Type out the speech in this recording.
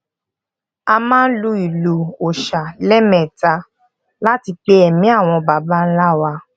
a máa n lu ìlù òòṣà leeméta láti pe emi àwọn baba ńlá wa